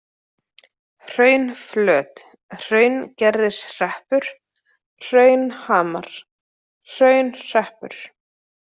Hraunflöt, Hraungerðishreppur, Hraunhamar, Hraunhreppur